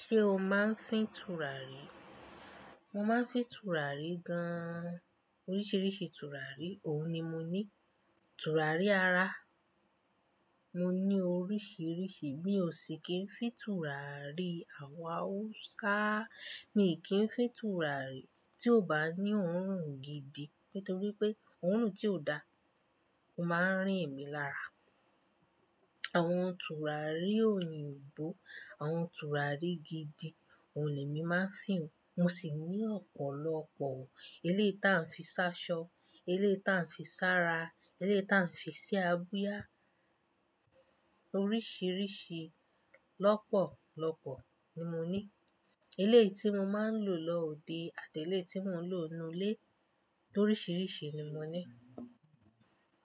Ṣé o máa ń fín tùràrí? Mo máa ń fín tùràrí gan an. Oríṣiríṣi tùràrí, òun ni mo ní. Tùràrí ara, mo ní oríṣiríṣi mí ò ṣì kí n fín tùràrí awúsá miì ki n fín tùràrí tí ò bá ní òórùn gidi. Nítorí pé òórùn tí ò da, ó máa ń rìn mí lára. Àwọn tùràrí òyìnbó, àwọn tùràrí gidi, òun lèmi máa ń fín. Mo sì ní ọ̀pọ̀lọpọ̀. Eléyìí tí a ń fi ṣáṣọ, eléyìí tí a ń fi ṣára, eléyìí tí a ń fi sí abíyá. Oríṣiríṣi lọ́pọ̀lọpọ̀ ni mo ní. Eléyìí tí mo máa ń lò lọ òde àti eléyìí tí mò ń lò nínú ilé, toríṣiríṣi ni mò ní.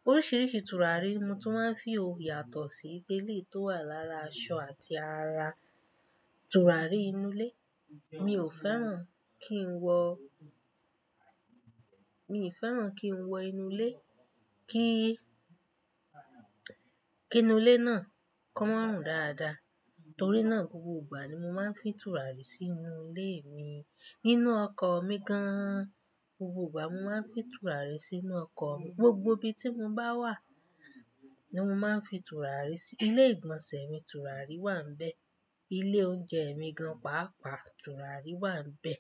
Oríṣiríṣi tùràrí mo tún máa ń fi òyà tọ̀ sí. Eléyìí tó wà lára aṣọ àti ara, tùràrí inú ilé. Mi ò fẹ́ràn kí n wọ-- mi ò fẹ́ràn kí n wọ inú ilé, kí, kí inú ilé náà kó máa rùn dáadáa. Torí náà, gbogbo ìgbà ni mo máa ń fín tùràrí sínú ilé mi. Nínú ọkọ̀ mi gan an. Gbogbo ìgbà mo máa ń fín tùràrí sínú ọkọ̀ mi. Gbogbo ibi tí mo bá wà ni mo máa ń fín tùràrí sí. Ilé ìgbọ̀nsẹ̀ mi tùràrí wà nbẹ̀. Ilé oúnjẹ mi gan pàápàá tùràrí wà níbẹ̀.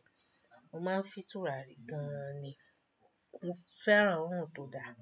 Mo máa ń fín tùràrí gan an ni. Mo fẹ́ràn òórùn tó dáa.